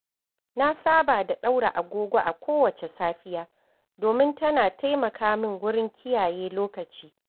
Na saba da ɗaura agogo a kowace safiya, domin tana taimaka min wurin kiyaye lokaci.